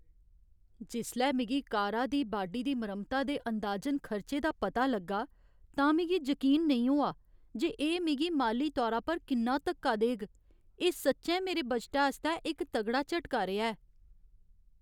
जिसलै मिगी कारा दी बाडी दी मरम्मता दे अंदाजन खर्चे दा पता लग्गा, तां मिगी जकीन नेईं होआ जे एह् मिगी माली तौरा पर किन्ना धक्का देग। एह् सच्चैं मेरे बजटै आस्तै इक तगड़ा झटका रेहा ऐ।